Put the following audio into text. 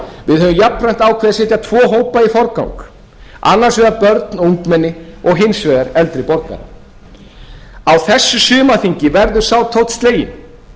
við höfum jafnframt ákveðið að setja tvo hópa í forgang annars vegar börn og ungmenni og hins vegar eldri borgara á þessu sumarþingi verður sá tónn sleginn